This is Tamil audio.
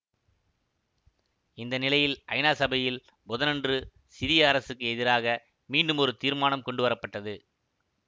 இந்த நிலையில் ஐநா சபையில் புதனன்று சிரிய அரசுக்கு எதிராக மீண்டும் ஒரு தீர்மானம் கொண்டு வரப்பட்டது